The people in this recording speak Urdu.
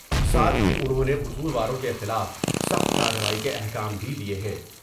ساتھ ہی انہوں نے قصورواروں کے خلاف سخت کاروائی کے احکام بھی دئے ہیں ۔